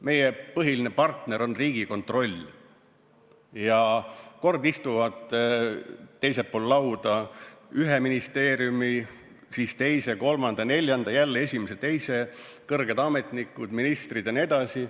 Meie põhiline partner on Riigikontroll ja kord istuvad teisel pool lauda ühe ministeeriumi, siis teise, kolmanda, neljanda, siis jälle esimese ja teise kõrged ametnikud, ministrid jne.